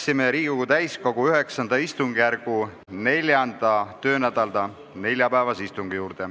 Alustame Riigikogu täiskogu IX istungjärgu 4. töönädala neljapäevast istungit.